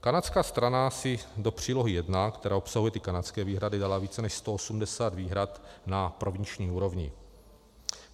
Kanadská strana si do přílohy 1, která obsahuje ty kanadské výhrady, dala více než 180 výhrad na provinční úrovni.